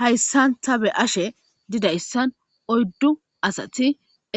Hayssan ta be ashe didayssan oyddu asati